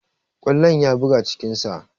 Kwallon ya buga cikin sa